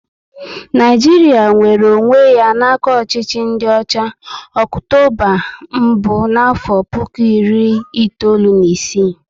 Naijiria nwere onwé ya n'aka ọchịchị ndị ọcha, Ọktoba mbụ n'afo puku iri itoolu na ịsị